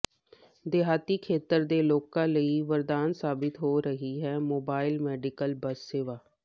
ਦਿਹਾਤੀ ਖੇਤਰ ਦੇ ਲੋਕਾਂ ਲਈ ਵਰਦਾਨ ਸਾਬਿਤ ਹੋ ਰਹੀ ਹੈ ਮੋਬਾਈਲ ਮੈਡੀਕਲ ਬੱਸ ਸੇਵਾ